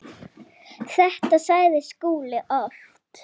Þetta sagði Skúli oft.